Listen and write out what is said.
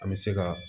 An bɛ se ka